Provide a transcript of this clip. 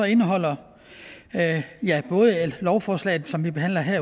indeholder både lovforslaget som vi behandler her